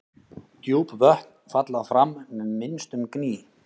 Djúp vötn falla fram með minnstum gný.